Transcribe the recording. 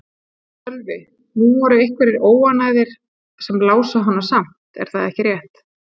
Sölvi: Nú voru einhverjir óánægðir sem lásu hana samt, er það ekki rétt?